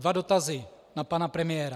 Dva dotazy na pana premiéra.